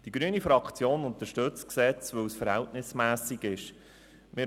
Die grüne Fraktion unterstützt das Gesetz, weil es verhältnismässig ist.